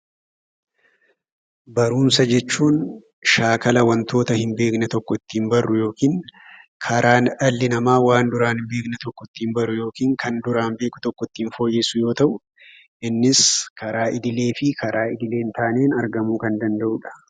Barumsa jechuun shaakala wantoota hin beekne tokko ittiin barru yookiin karaa dhalli namaa waan duraan hin beekne tokko ittiin baru yookiin kan duraan beeku tokko ittiin fooyyessu yoo ta'u, innis karaa idilee fi karaa idilee hin taaneen argamuu kan danda'uu dha.